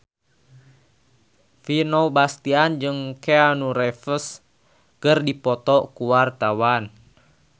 Vino Bastian jeung Keanu Reeves keur dipoto ku wartawan